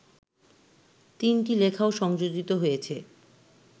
তিনটি লেখাও সংযোজিত হয়েছে